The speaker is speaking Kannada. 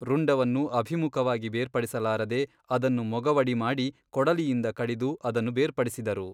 ರುಂಡವನ್ನು ಅಭಿಮುಖವಾಗಿ ಬೇರ್ಪಡಿಸಲಾರದೆ ಅದನ್ನು ಮೊಗವಡಿಮಾಡಿ ಕೊಡಲಿಯಿಂದ ಕಡಿದು ಅದನ್ನು ಬೇರ್ಪಡಿಸಿದರು.